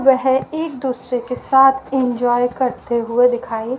वेह एक दूसरे के साथ एंजॉय करते हुए दिखाई--